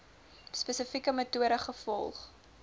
spesifieke metode gevolg